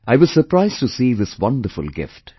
I was surprised to see this wonderful gift